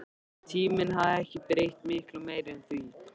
Tíminn hafði ekki breytt miklu meiru en því.